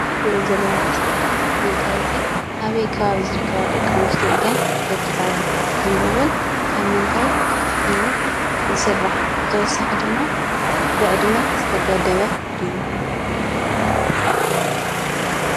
እንሪኦ ዘለና ምስሊ መጋየፂ ኣበይ ከባቢ ዝርከባ ደቂ ኣንስትዮ እየን ዘጊፃሉ ? ከምኡ እዉን ካብ ምንታይ እዩ ዝስራሕ? ተወሳኺ ድማ ብዕድመ ዝተገደበ ድዩ?